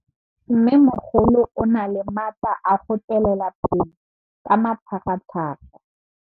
Mmêmogolo o na le matla a go tswelela pele ka matlhagatlhaga.